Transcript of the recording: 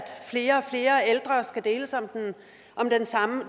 flere og flere ældre skal deles om